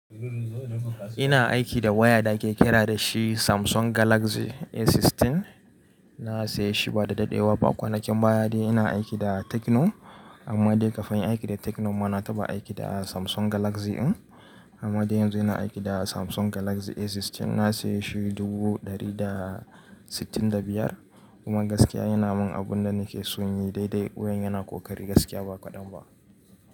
Ina aiki da waya da ake kira da shi Samsung Galaxy A16. Na saya shi ba da daɗewa ba. Kwanakin baya de ina aiki da Tecno amma dai kafin aiki da Tecno ma na taɓa aiki da Samsung Galaxy din amma dai yanzu ina aiki da Samsung Galaxy A16. Na saya shi dubu ɗari da sittin da biyar kuma gaskiya yana mun abun da nake son yi daidai. Wayan yana kokari gaskiya ba kaɗan ba.